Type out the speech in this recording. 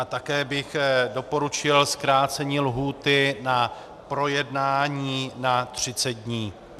A také bych doporučil zkrácení lhůty na projednání na 30 dní.